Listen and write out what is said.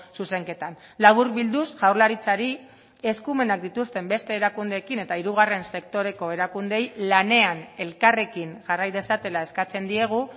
zuzenketan laburbilduz jaurlaritzari eskumenak dituzten beste erakundeekin eta hirugarren sektoreko erakundeei lanean elkarrekin jarrai dezatela eskatzen diegu